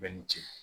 Bɛɛ ni ce